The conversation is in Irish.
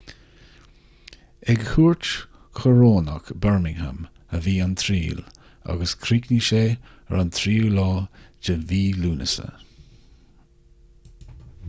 ag cúirt choróineach bermingham a bhí an triail agus chríochnaigh sé ar an 3 lúnasa